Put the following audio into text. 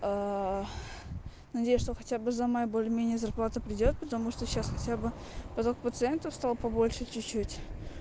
надеюсь что хотя бы за май более-менее меня зарплата придёт потому что сейчас хотя бы поток пациентов стало побольше чуть-чуть